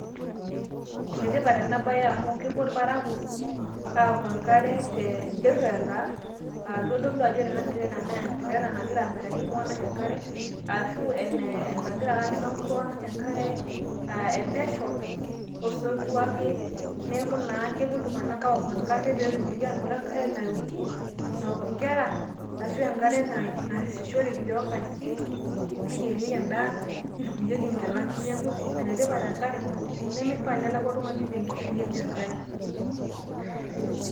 ene tipata ena bae amu kepuo irparakuo aaoku enkare tentirela, aa kitodolu ajo ore tirela naa entirela nagira amiraki iltung'anak ,ashu enagira ake aisho iltung'anak enkare epesho.o sotua ake, neeku kepu iltung'anak aaoku enkare nayierishore, neoki, nitukuyieki nkera. neeku ene tipat enkare. naa meishaa nelau oltung'ani te nkishui enye enkare.